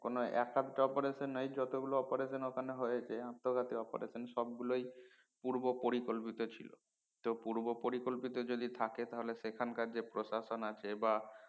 কোন এক একটা operation নয় যত গুলো operation ওখানে হয়েছে আত্মঘাতীক operation সব গুলোই পূর্বও পরিকল্পিত ছিলো পরিকল্পিত যদি থাকে তাহলে সেখানকার যে প্রশাসন আছে বা